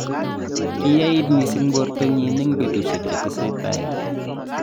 kiyait mising borto nyin eng' betusiek che teseitai